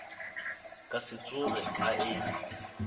ka se tsoge a e